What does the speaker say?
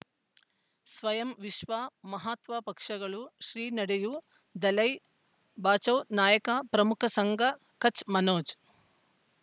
ಸ್ವಯಂ ವಿಶ್ವ ಮಹಾತ್ಮ ಪಕ್ಷಗಳು ಶ್ರೀ ನಡೆಯೂ ದಲೈ ಬಚೌ ನಾಯಕ ಪ್ರಮುಖ ಸಂಘ ಕಚ್ ಮನೋಜ್